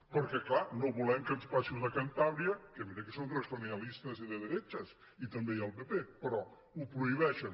perquè clar no volem que ens passi com a cantàbria que mira que són regionalistas y de derechas i també hi ha el pp però ho prohibeixen